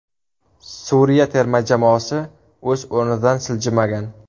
Suriya terma jamoasi o‘z o‘rnidan siljimagan.